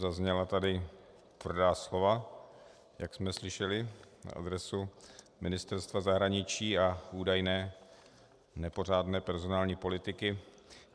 Zazněla tady tvrdá slova, jak jsme slyšeli, na adresu Ministerstva zahraničí a údajné nepořádné personální politiky.